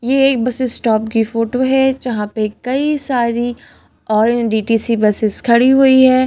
ये एक bus stop की फोटो है जहां पे कई सारी और डीटीसी बसेस खड़ी हुई है।